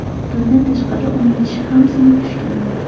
Bundan tashqari, uning tishi ham sinib tushgan.